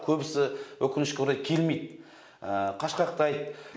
көбісі өкінішке орай келмейді қашқақтайды